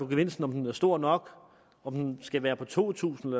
gevinst om den er stor nok om den skal være på to tusind